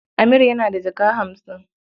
Amir yana da jaka hamsin.